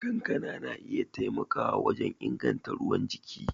Kankana na iya taimakawa wajen inganta ruwan jiki.